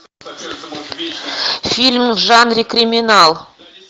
фильм в жанре криминал